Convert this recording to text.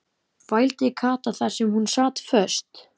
vældi Kata þar sem hún sat föst.